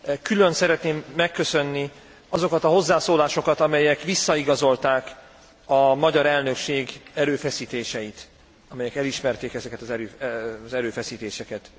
Külön szeretném megköszönni azokat a hozzászólásokat, amelyek visszaigazolták a magyar elnökség erőfeszítéseit, amelyek elismerték ezeket az erőfeszítéseket.